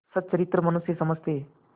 सच्चरित्र मनुष्य समझते